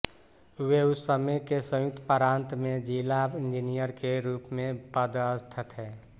वे उस समय के संयुक्त प्रान्त में जिला इंजीनियर के रूप में पदस्थ थे